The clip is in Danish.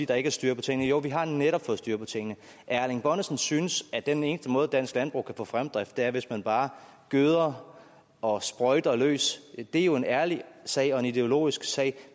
der ikke er styr på tingene jo vi har netop fået styr på tingene at erling bonnesen synes at den eneste måde dansk landbrug kan få fremdrift på er hvis man bare gøder og sprøjter løs er jo en ærlig sag og en ideologisk sag